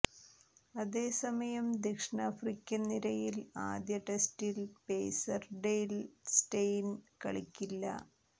അതേസമയം ദക്ഷിണാഫ്രിക്കൻ നിരയിൽ ആദ്യ ടെസ്റ്റിൽ പേസർ ഡെയ്ൽ സ്റ്റെയിൻ കളിക്കില്ല